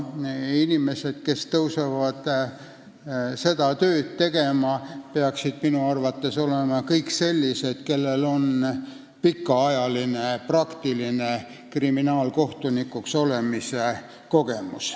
Inimesed, kes hakkavad seda tööd tegema, peaksid minu arvates olema kõik sellised, kellel on pikaajaline praktiline kriminaalkohtunikuks olemise kogemus.